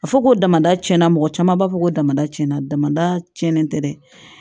A fɔ ko damada tiɲɛna mɔgɔ caman b'a fɔ ko damada tiɲɛna damada cɛnnen tɛ dɛ